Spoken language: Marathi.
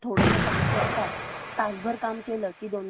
तासभर काम केलं की दोन दोन तास ते विश्रांती घेतात